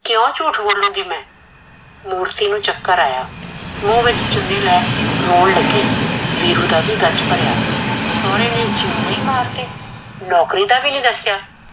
ਕੀਓ ਝੂਠ ਬੋਲੂਗੀ ਮੈਂ, ਮੂਰਤੀ ਨੂੰ ਚੱਕਰ ਆਇਆ ਮੂੰਹ ਵਿੱਚ ਚੁਨੀ ਲੈ ਰੋਣ ਲੱਗੀ, ਵੀਰੂ ਦਾ ਵੀ ਗੱਚ ਭਰਿਆ, ਸੋਰੇ ਨੇ ਜਿਉਂਦੇ ਈ ਮਾਰਤੇ ਨੋਕਰੀ ਦਾ ਵੀ ਨੀਂ ਦੱਸਿਆ